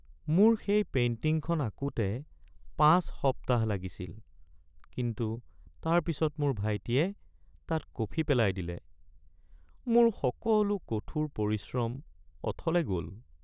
মোৰ সেই পেইণ্টিংখন আঁকোতে ৫ সপ্তাহ লাগিছিল কিন্তু তাৰপিছত মোৰ ভাইটিয়ে তাত কফি পেলাই দিলে। মোৰ সকলো কঠোৰ পৰিশ্ৰম অথলে গ'ল।